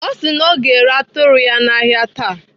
Ọ sị na ọ ga-ere atụrụ ya n'ahịa taa.